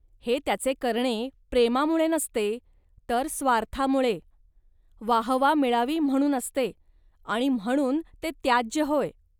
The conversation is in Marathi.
हे त्याचे करणे प्रेमामुळे नसते, तर स्वार्थामुळे. वाहवा मिळावी म्हणून असते आणि म्हणून ते त्याज्य होय